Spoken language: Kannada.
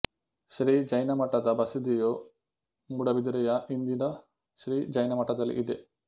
ಶ್ರೀ ಜೈನ ಮಠದ ಬಸದಿಯು ಮೂಡಬಿದಿರೆಯ ಇಂದಿನ ಶ್ರೀ ಜೈನಮಠದಲ್ಲಿ ಇದೆ